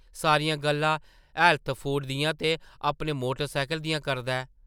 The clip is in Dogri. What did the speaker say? सारियां गल्लां हैल्थ फूड दियां ते अपने मोटर सैह्कल दियां करदा ऐ ।